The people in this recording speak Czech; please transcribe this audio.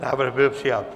Návrh byl přijat.